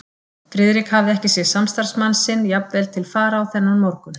Friðrik hafði ekki séð samstarfsmann sinn jafn vel til fara og þennan morgun.